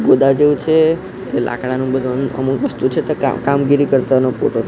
ગોદા જેવું છે લાકડાનું બધુ અમુક વસ્તુ છે તે કા કામગીરી કરતાનો --